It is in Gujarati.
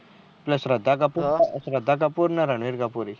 એટલે શ્રદ્ધા કપૂર ને રણવીર કપૂર